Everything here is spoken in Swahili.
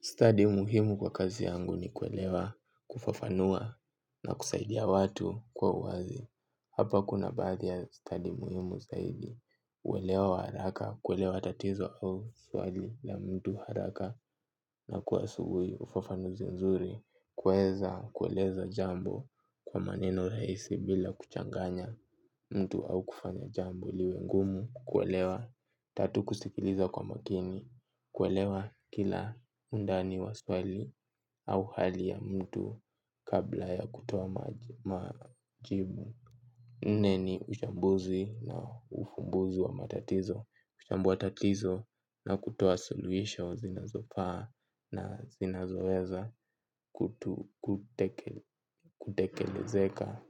Study muhimu kwa kazi yangu ni kuelewa, kufafanua na kusaidia watu kwa uwazi. Hapa kuna baadhi ya stadi muhimu zaidi. Uelewa wa haraka, kuelewa tatizo au swali la mtu haraka na kwa asubuhi ufafanuzi nzuri. Kuweza, kueleza jambo kwa maneno rahisi bila kuchanganya mtu au kufanya jambo liwe ngumu. Kuelewa, tatu kusikiliza kwa makini, kuelewa kila undani wa swali au hali ya mtu kabla ya kutoa majibu. Nne ni uchambuzi na ufumbuzi wa matatizo, huchambua tatizo na kutoa suluhisho zinazofaa na zinazoweza kutu kutekelezeka.